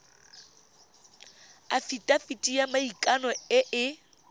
afitafiti ya maikano e e